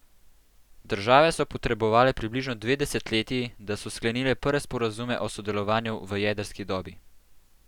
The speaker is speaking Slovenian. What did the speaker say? Države so potrebovale približno dve desetletji, da so sklenile prve sporazume o sodelovanju v jedrski dobi.